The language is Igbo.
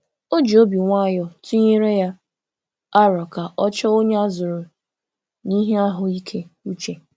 O ji obi nwayọ tụnyere ya aro ka ọ chọọ onye a zụrụ n'ihe ahụ ike uche.